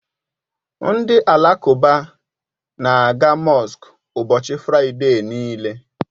Ndị Alakụba na, a ga mọsk ụbọchị Fraịde niile.